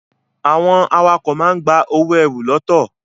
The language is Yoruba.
Àwọn awakọ̀ máa ń gba owó ẹrù ltd.